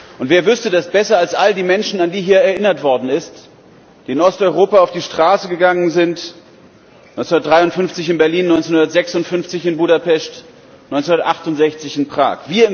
Und wer wüsste das besser als all die Menschen, an die hier erinnert worden ist, die in Osteuropa auf die Straße gegangen sind 1953 in Berlin, 1956 in Budapest, 1968 in Prag.